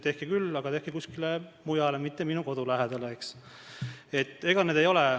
Tehke küll, aga tehke kuskile mujale, mitte minu kodu lähedale!